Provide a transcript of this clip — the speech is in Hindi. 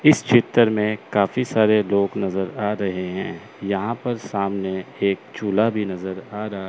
इस चित्र में काफी सारे लोग नजर आ रहे हैं यहां पर सामने एक चूल्हा भी नजर आ रहा--